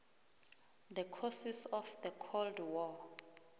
the causes of the cold war